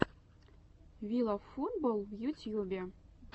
вилавфутболл в ютьюбе